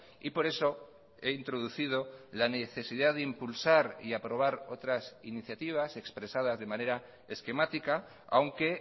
y por eso he introducido la necesidad de impulsar y aprobar otras iniciativas expresadas de manera esquemática aunque